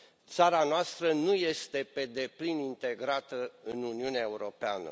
țara noastră nu este pe deplin integrată în Uniunea Europeană.